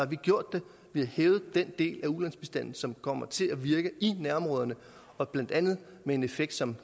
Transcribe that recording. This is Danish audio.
vi gjort det vi har hævet den del af ulandsbistanden som kommer til at virke i nærområderne og blandt andet med en effekt som